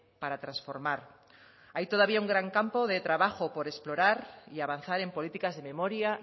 para transformar hay todavía un gran campo de trabajo por explorar y avanzar en políticas de memoria